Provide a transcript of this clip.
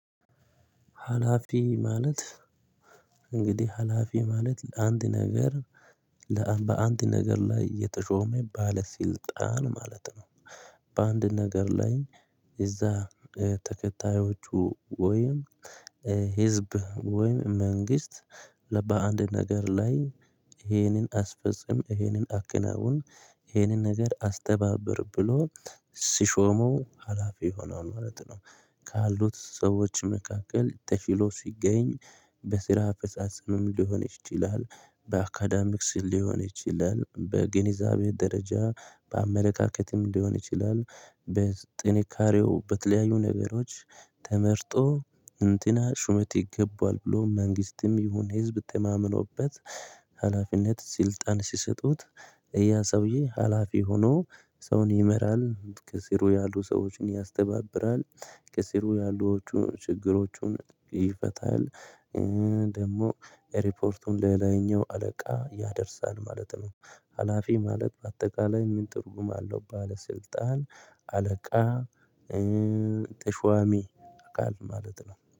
ህላፊ ማለት እንግዲህ ሀላፊ ማለት ለአንድ ነገር በአንድ ነገር ላይ የተሾመ ባለስልጣን ማለት ነው። በአንድ ነገር ላይ እዛ ተከታዮቹ ወይም ህዝብ ወይም መንግስት ባንድ ነገር ላይ ይሄንን አስፈጽም ይሄንን አከናውን ይሄንን ነገር አስተባብር ብሎ ሲሾመው ሀላፊ ሆኗል ማለት ነው። ካሉት ሰዎች መካከል ተሽሎ ሲገኝ በስራ አፈጻጸምም ሊሆን ይችላል። በአካዳሚክስ ሊሆን ይችላል በግንዛቤ ደረጃ በአመለካከትም ሊሆን ይችላል። በጥንካሬው በተለያዩ ነገሮች ተመርጦ እንትና ሹመት ይገበዋል ብሎ መንግስትም ይሁን ህዝብ ተማምኖበት ሀላፊነት ስልጣን ሲሰጡት ያ ሰውዬ ሀላፊ ሆኖ ሰውን ይመራል ከስሩ ያሉ ሰዎችን ያስተባብራል። ከስሩ ያሉዎቹ ችግሮቹን ይፈታል። ደግሞ ሪፖርቱን ለላይኛው አለቃ ያደርሳል ማለት ነው። ሀላፊ ማለት በአጠቃላይ ምን ትርጉም አለው ባለስልጣን አለቃ ተሽዋሚ አካል ማለት ነው